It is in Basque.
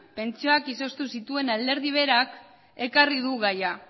pentsioak izoztu zituen alderdi berak ekarri du gaia